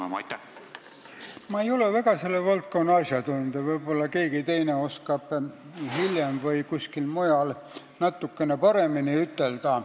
Ma ei ole selle valdkonna asjatundja, võib-olla keegi teine oskab hiljem või kuskil mujal natukene paremini vastata.